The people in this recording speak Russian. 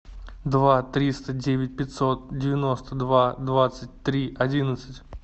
два триста девять пятьсот девяносто два двадцать три одиннадцать